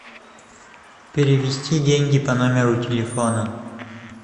перевести деньги по номеру телефона